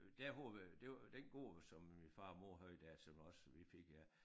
Dér hvor vi det var den gård som min far og mor havde der som også vi fik ja